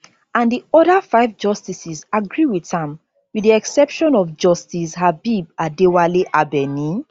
and di oda five justices agree wit am wit di exception of justice habeeb adewale abeni